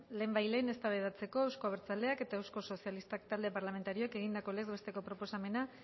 lehenbailehen eztabaidatzeko euzko abertzaleak eta euskal sozialistak talde parlamentarioek egindako legez besteko proposamena